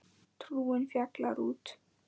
Trúin fjarar út